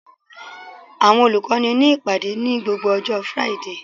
Àwọn olùkọ́ ní ìpàdé ní gbogbo ọjọ́ Friday